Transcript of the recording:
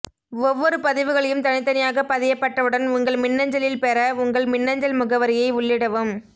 ஒவ்வொரு பதிவுகளையும் தனி தனியாக பதியபட்டவுடன் உங்கள் மின்னஞலில் பெற உங்கள் மின்னஞல் முகவரியை உள்ளிடவும்